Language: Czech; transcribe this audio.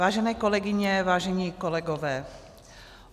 Vážené kolegyně, vážení kolegové.